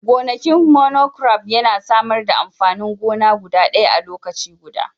gonakin monocrop yana samar da amfanin gona guda ɗaya a lokaci guda